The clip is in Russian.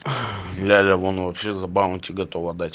ляля вон вообще за баунти готова дать